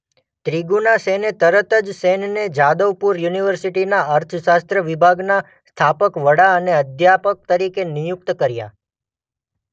ત્રીગુના સેને તરત જ સેનને જાદવપુર યુનિવર્સિટીના અર્થશાસ્ત્ર વિભાગના સ્થાપક-વડા અને અધ્યાપક તરીકે નિયુક્ત કર્યા.